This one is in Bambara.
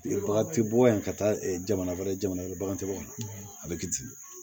Bagan tɛ bɔ yan ka taa jamana wɛrɛ jamana wɛrɛ bagantigiw kan a bɛ k'i dimi